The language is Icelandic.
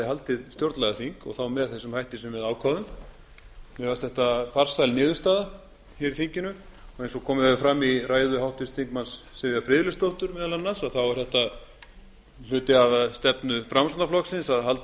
verði stjórnlagaþing og þá með þeim hætti sem við ákváðum mér fannst þetta farsæl niðurstaða hér í þinginu og eins og komið hefur meðal annars fram í ræðu háttvirts þingmanns sivjar friðleifsdóttur er hluti af stefnu framsóknarflokksins að halda